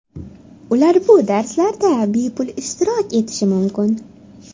Ular bu darslarda bepul ishtirok etishi mumkin.